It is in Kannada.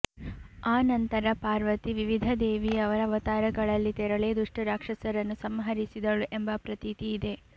ಆ ನಂತರ ಪಾರ್ವತಿ ವಿವಿಧ ದೇವಿಯರ ಅವತಾರಗಳಲ್ಲಿ ತೆರಳಿ ದುಷ್ಟರಾಕ್ಷಸರನ್ನು ಸಂಹರಿಸಿದಳು ಎಂಬ ಪ್ರತೀತಿಯಿದೆ